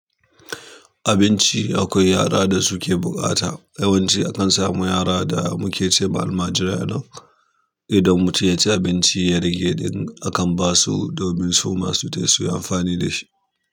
Abinci akwai yara da suke buƙata. Yawanci akan samu yara da muke ce ma almajirai a nan idan mutum ya ci abinci ya rage ɗin akan basu domin su masu tai suyi amfani da shi.